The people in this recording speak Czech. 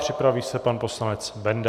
Připraví se pan poslanec Benda.